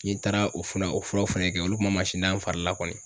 N'i taara o fana o furaw fɛnɛ kɛ olu kun ma mansin da n fari la kɔni.